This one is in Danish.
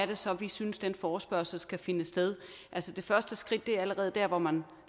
det så er vi synes den forespørgsel skal finde sted altså det første skridt er allerede der hvor man